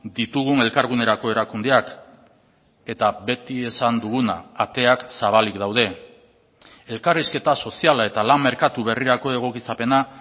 ditugun elkargunerako erakundeak eta beti esan duguna ateak zabalik daude elkarrizketa soziala eta lan merkatu berrirako egokitzapena